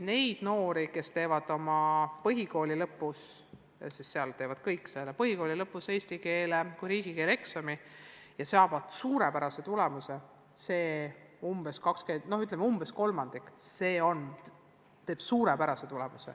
Neid noori, kes teevad põhikooli lõpus eesti keele kui riigikeele eksami – selle eksami teevad põhikooli lõpus kõik – ja saavad suurepärase tulemuse, on umbes kolmandik.